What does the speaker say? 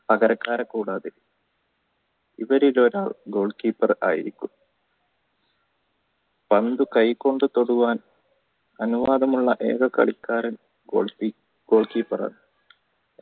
പകരക്കാര് കൂടാതെ goal keeper ആയിരിക്കും പന്ത് കൈ കൊണ്ട് തൊടുവാൻ അനുവാദമുള്ള ഏക കളിക്കാരൻ goal keeper ആണ്